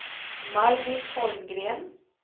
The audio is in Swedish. Margit Holmgren